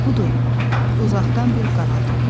Budur, uzaqdan bir qaraltı gəlir.